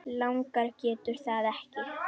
Langar en getur það ekki.